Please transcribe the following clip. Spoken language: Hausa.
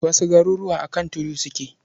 Wasu garuruwa a kan tudu suke.